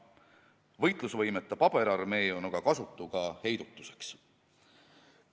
Võitlusvõimetu paberarmee on aga kasutu ka heidutuseks.